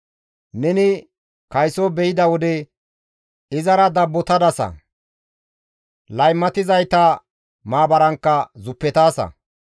Neni kayso be7ida wode izara dabbotadasa; laymatizayta maabarankka zuppetaasa.